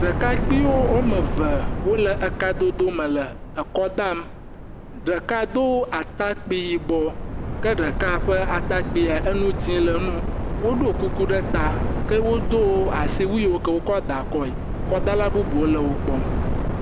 Ɖekakpuiwo woame ve wole ekadodo me le ekɔ dam, ɖeka do atakpui yibɔ ke ɖeka ƒe atakpuia, enu dze le nu, woɖo kuku ɖe ta. Ke wodo asiwui yiwo wokɔ daa akɔe, kɔdala bubuwo le wo kpɔm.